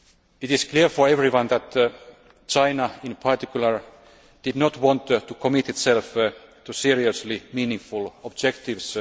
It is clear to everyone that China, in particular, did not want to commit itself to seriously meaningful objectives.